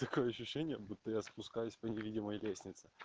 такое ощущение будто я спускаюсь по невидимой лестнице